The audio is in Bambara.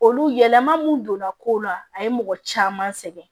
Olu yɛlɛma mun donna ko la a ye mɔgɔ caman sɛgɛn